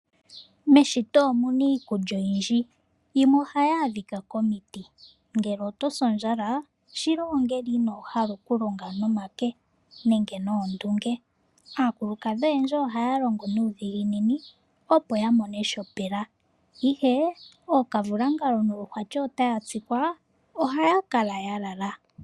Meshito omuna iikulya oyindji, yimwe ohayi adhika komiti. Ngele oto si ondjala shila ongele inoo hala oku longa nomake nenge noondunge. Aakulukadhi oyendji ohaya longo nuudhiginini opo ya mone shopela, ihe ookavulangalo noluhwati ota ya tsikwa, ohaya kala ya lala.